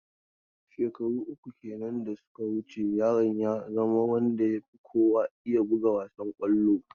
Shekaru uku kenan da suka wuce yaron ya zama wanda ya fi kowa iya buga wassan kwallo.